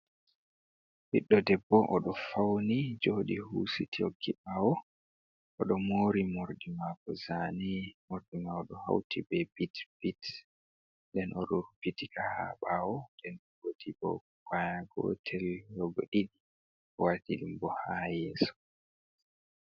Ɓiɗɗo debbo o do fauni jodi husit hokki ɓawo oɗo mori morɗi mako zane morɗi mako hauti be pit pits den o rubbitika ka ha ɓawo den goti bo kwaya gotel ɗo bo ɗiɗi o waɗi ɗumbo ha yeso.